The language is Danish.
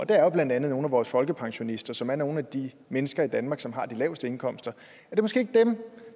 det er jo blandt andet nogle af vores folkepensionister som er nogle af de mennesker i danmark som har de laveste indkomster måske ikke er dem